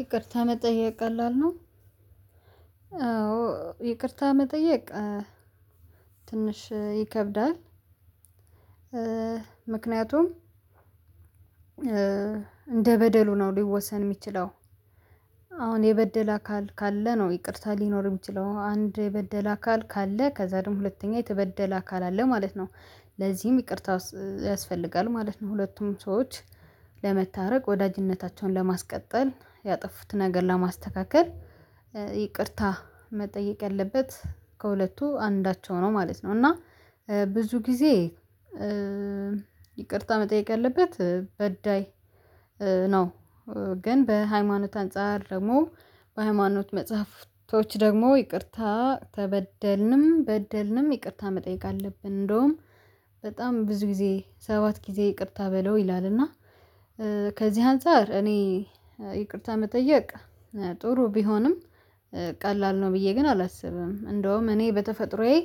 ይቅርታ መጠየቅ ቀላል ነው። አዎ ይቅርታ መጠየቅ ትንሽ ይከብዳል። ምክንያቱም እንደ በደሉ ነው ሊወሰን የሚችለው አ አሁን የበደለ አካል ካለ ነው ይቅርታ ሊኖር የሚችለው አንድ የበደለ አካል ካለ ከዛ ደግሞ ሁለተኛ የተበደለ አካል አለ ማለት ነው። ለዚህም ይቅርታ ያስፈልጋል ማለት ነው ሁለቱም ሰዎች ለመታረቅ ወዳጅነታቸውን ለማስቀጠል ያጠፉትን ነገር ለማስተካከል ይቅርታ መጠየቅ ያለበት ከሁለቱ አንዳቸው ነው ማለት ነው እና ብዙ ጊዜ ይቅርታ መጠየቅ ያለበት በዳይ ነው። ግን በሃይማኖት አንፃር ደግሞ በሃይማኖት መጽሐፍቶች ደግሞ ይቅርታ ተበደልንም በደልንም ይቅርታ መጠየቅ አለብን። እንደውም በጣም ብዙ ጊዜ ሰባት ጊዜ ይቅርታ በለው ይላልና። ከዚህ አንፃር እኔ ይቅርታ መጠየቅ ጥሩ ቢሆንም ቀላል ነው ብዬ ግን አላስብም። እንደውም እኔ በተፈጥሮዬ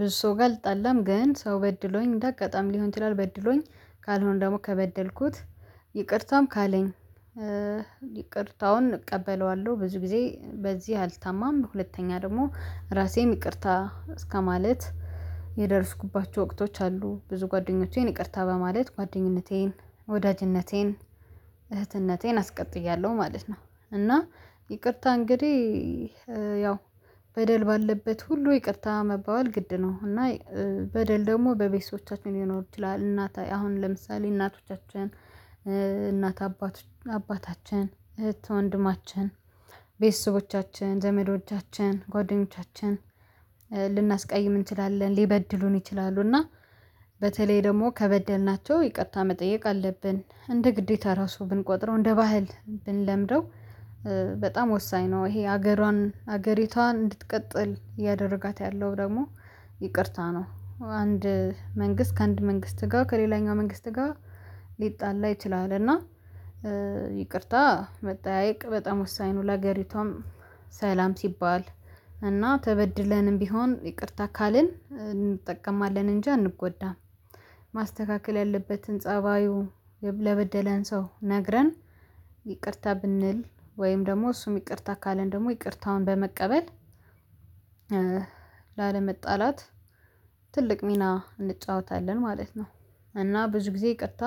ብዙ ሰው ጋር አልጣላም ግን ሰው በድሎኝ እንደ አጋጣሚ ሊሆን ይችላለህ በድሎኝ ካልሆነ ደግሞ ከበደልኩት ይቅርታም ካለኝ ይቅርታውን እቀበለዋለሁ። ብዙ ጊዜ በዚህ አልታማም በሁለተኛ ደግሞ ራሴን ይቅርታ እስከማለት የደረስኩባቸው ወቅቶች አሉ ብዙ ጓደኞቼን ይቅርታ በማለት ጓደኝነቴን ወዳጅነቴን እህትነቴን አስቀጥያለሁ ማለት ነው። እና ይቅርታ እንግዲህ ያው በደል ባለበት ሁሉ ይቅርታ መባባል ግድ ነው። እና በደል ደግሞ በቤተሰቦቻችን ሊኖር ይችላል እናት አሁን ለምሳሌ እናቶቻችን እናት አባቶች አባታችን እህት ወንድማችን ቤተሰቦቻችን ዘመዶቻችን ጓደኞቻችን ልናስቀይም እንችላለን ሊበድሉን ይችላሉ። እና በተለይ ደግሞ ከበደልናቸው ይቅርታ መጠየቅ አለብን እንደ ግዴታ ራሱ ብንቆጥረው እንደ ባህል ብንለምደው በጣም ወሳኝ ነው። ይሄ ሀገሯን ሀገሪቷን እንድትቀጥል እያደረጋት ያለው ደግሞ ይቅርታ ነው። አንድ መንግስት ከአንድ መንግስት ጋር ከሌላኛው መንግስት ጋር ሊጣላ ይችላል እና ይቅርታ መጠያየቅ በጣም ወሳኝ ነው። ለሀገሪቷም ሰላም ሲባል እና ተበድለንም ቢሆን ይቅርታ ካልን እንጠቀማለን እንጂ አንጎዳም። ማስተካከል ያለበትን ፀባዩ የ ለበደለን ሰው ነግረን ይቅርታ ብንል ወይም ደግሞ እሱም ይቅርታ ካለን ደግሞ ይቅርታውን በመቀበል ላለመጣላት ትልቅ ሚና እንጫወታለን ማለት ነው። እና ብዙ ጊዜ ይቅርታ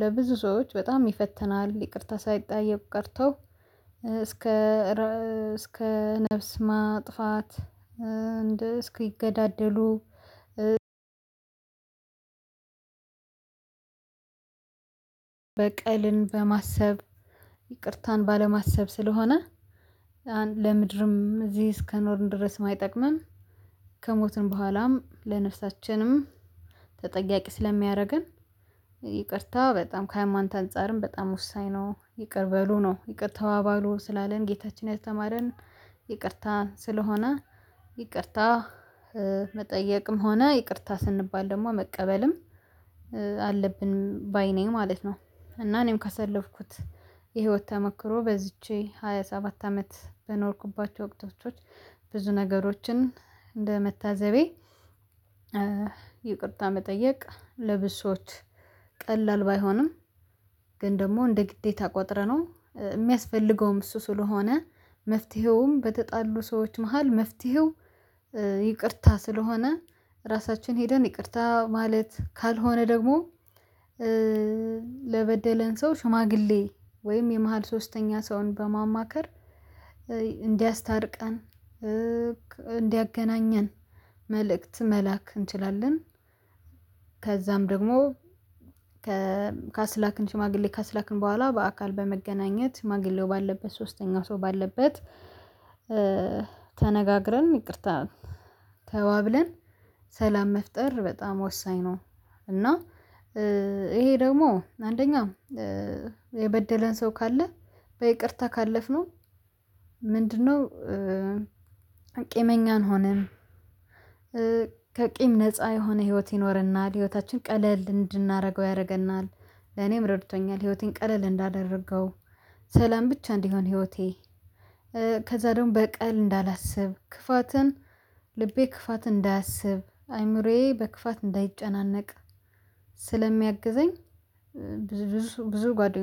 ለብዙ ሰዎች በጣም ይፈትናል ይቅርታ ሳይጠያየቁ ቀርተው እስከ እረ እስከ ነፍስ ማጥፋት እንደ እስኪገዳደሉ በቀልን በማሰብ ይቅርታን ባለማሰብ ስለሆነ ለምድርም እዚህ እስከኖርን ድረስም አይጠቅምም። ከሞትንም በኋላም ለነፍሳችንም ተጠያቂ ስለሚያደርገን ይቅርታ በጣም ከሃይማኖት አንፃርም በጣም ወሳኝ ነው። ይቅር በሉ ነው ይቅርታ ተባባሉ ስላለን ጌታችን ያስተማረን ይቅርታ ስለሆነ ይቅርታ መጠየቅም ሆነ ይቅርታ ስንባል ደግሞ መቀበልም አለብን ባይ ነኝ ማለት ነው። እና እኔም ካሳለፍኩት የህይወት ተሞክሮ በዚች ሃያ ሰባት አመት በኖርኩባቸው ወቅቶቾች ብዙ ነገሮችን እንደመታዘቤ ይቅርታ መጠየቅ ለብሶት ቀላል ባይሆንም ግን ደግሞ እንደ ግዴታ ቆጥረነው የሚያስፈልገውም እሱ ስለሆነ። መፍትሄውም በተጣሉ ሰዎች መሃል መፍትሄው ይቅርታ ስለሆነ ራሳችን ሄደን ይቅርታ ማለት ካልሆነ ደግሞ ለበደለን ሰው ሽማግሌ ወይም የመሃል ሶስተኛ ሰውን በማማከር እንዲያስታርቀን እንዲያገናኘን መልእክት መላክ እንችላለን። ከዛም ደግሞ ከካስላክን ሽማግሌ ካስላክን በኋላ በአካል በመገናኘት ሽማግሌው ባለበት ሶስተኛው ሰው ባለበት ተነጋግረን ይቅርታ ተባብለን ሰላም መፍጠር በጣም ወሳኝ ነው። እና ይሄ ደግሞ አንደኛ የበደለን ሰው ካለ በይቅርታ ካለፍነው ምንድነው? ቂመኛ አንሆንም ከቂም ነፃ የሆነ ህይወት ይኖርናል ህይወታችን ቀለል እንድናደርገው ያደርገናል። ለኔም ረድቶኛል ህይወቴን ቀለል እንዳደረገው። ሰላም ብቻ እንዲሆን ህይወቴ ከዛ ደግሞ በቀል እንዳላስብ ክፋትን ልቤ ክፋት እንዳያስብ አይምሮዬ በክፋት እንዳይጨናነቅ ስለሚያግዘኝ። ብዙ ብዙ ጓደኞቼ